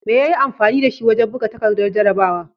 Me ya yi amfani da shi wajen buga takardar jarrabawa?